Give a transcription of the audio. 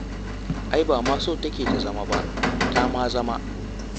Ai ba ma so take ta zama ba, ta ma zama.